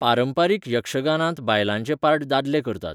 पारंपारीक यक्षगानांत बायलांचे पार्ट दादले करतात.